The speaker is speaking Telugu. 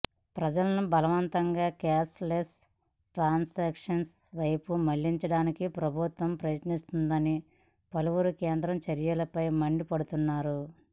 ప్రజలను బలవంతంగా క్యాష్ లెస్ ట్రాన్సాక్షన్స్ వైపు మళ్లించడానికి ప్రభుత్వం ప్రయత్నిస్తోందని పలువురు కేంద్రం చర్యలపై మండిపడుతున్నారు